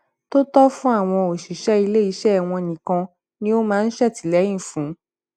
tó tọ fún àwọn òṣìṣẹ ilé iṣẹ wọn nìkan ni ó máa ń ṣètìlẹyìn fún